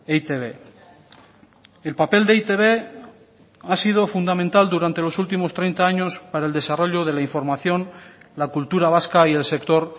eitb el papel de e i te be ha sido fundamental durante los últimos treinta años para el desarrollo de la información la cultura vasca y el sector